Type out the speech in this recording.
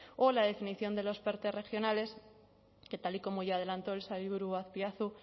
o la definición de los perte regionales que tal y como ya adelantó el sailburu azpiazu